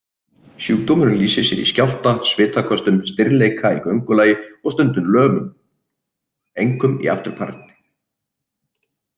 Sjúkdómurinn lýsir sér í skjálfta, svitaköstum, stirðleika í göngulagi og stundum lömun, einkum í afturparti.